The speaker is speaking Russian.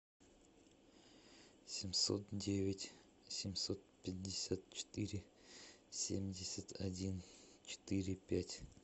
семьсот девять семьсот пятьдесят четыре семьдесят один четыре пять